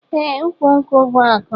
Eeh ukwu nkwu bu aku.